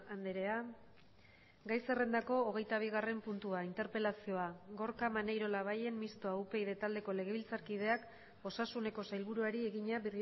andrea gai zerrendako hogeita bigarren puntua interpelazioa gorka maneiro labayen mistoa upyd taldeko legebiltzarkideak osasuneko sailburuari egina